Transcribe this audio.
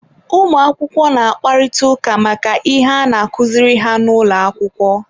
ụmụakwụkwọ na-akparịta ụka maka ihe a na-akụziri ha n'ụlọ akwụkwọ.